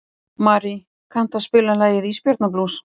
Marí, kanntu að spila lagið „Ísbjarnarblús“?